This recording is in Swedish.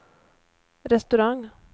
restaurang